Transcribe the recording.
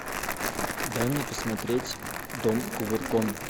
дай мне посмотреть дом кувырком